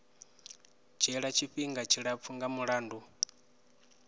dzhiela tshifhinga tshilapfu nga mulandu